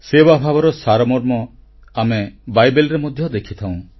ସେବାଭାବର ସାରମର୍ମ ଆମେ ବାଇବେଲରେ ମଧ୍ୟ ଦେଖିଥାଉଁ